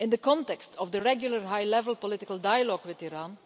In the context of the regular, high level political dialogue with Iran